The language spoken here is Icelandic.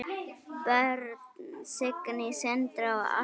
Börn: Signý, Sindri og Ástrós.